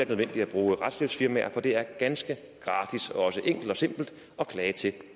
nødvendigt at bruge retshjælpsfirmaer for det er ganske gratis og også enkelt og simpelt at klage til